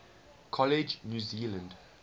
college new zealand